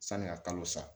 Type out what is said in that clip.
Sani ka kalo sa